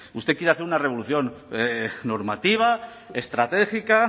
usted quiere hacer una revolución normativa estratégica